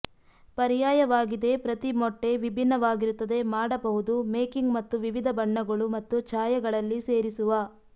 ಪರ್ಯಾಯವಾಗಿದೆ ಪ್ರತಿ ಮೊಟ್ಟೆ ವಿಭಿನ್ನವಾಗಿರುತ್ತದೆ ಮಾಡಬಹುದು ಮೇಕಿಂಗ್ ಮತ್ತು ವಿವಿಧ ಬಣ್ಣಗಳು ಮತ್ತು ಛಾಯೆಗಳಲ್ಲಿ ಸೇರಿಸುವ